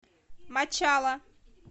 мачала